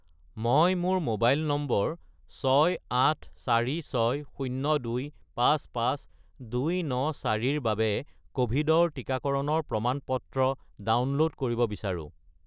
মই মোৰ mobile number 68460255294 ৰ বাবে ক'ভিডৰ টিকাকৰণৰ প্ৰমাণ-পত্ৰ ডাউনল'ড কৰিব বিচাৰোঁ।